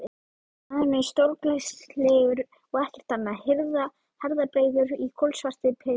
Maðurinn er stórglæsilegur og ekkert annað, herðabreiður í kolsvartri peysu.